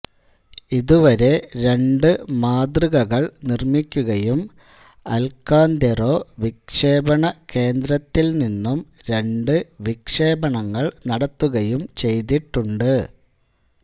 ഇതുവരെ രണ്ടു മാതൃകകൾ നിർമ്മിക്കുകയും അൽകാന്തെറാ വിക്ഷേപണ കേന്ദ്രത്തിൽ നിന്നും രണ്ടു വിക്ഷേപണങ്ങൾ നടത്തുകയും ചെയ്തിട്ടുണ്ട്